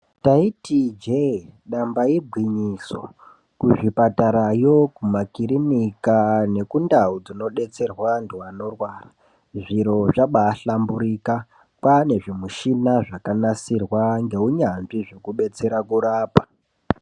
Ndaiti ije damba igwinyiso kuzvipatara yo ku makiriniki ngekundau dzinodetserwa antu anorwara zviro zvakaba hlamburika kwane zvimushina zvakanasirwa ngehunatsvi zvekudetsera kurapa.